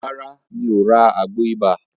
Rárá, mi ò ra àgbo ibà.